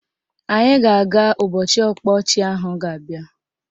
Anyị ga-aga ụbọchị ọkpa ọchị ahụ ga-abịa